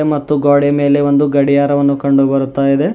ಮತ್ತು ಗೋಡೆ ಮೇಲೆ ಒಂದು ಗಡಿಯಾರವನ್ನು ಕಂಡುಬರುತ್ತ ಇದೆ.